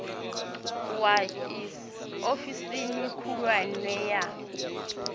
wa iss ofisini khulwane ya